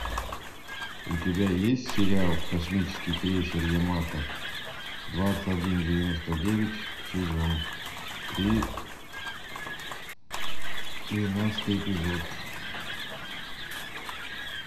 у тебя есть сериал космический крейсер ямато двадцать один девяносто девять сезон три двенадцатый эпизод